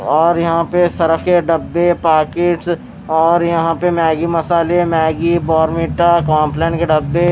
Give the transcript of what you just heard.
और यहां पे सरफ के डब्बे पाकिट्स और यहां पे मैगी मसाले मैगी बॉर्मीटा कॉमपलन के डब्बे---